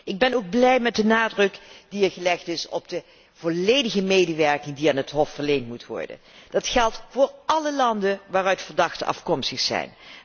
Ik ben ook blij met de nadruk die er gelegd is op de volledige medewerking die aan het Hof moet worden verleend. Dat geldt voor alle landen waaruit verdachten afkomstig zijn.